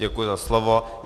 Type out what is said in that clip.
Děkuji za slovo.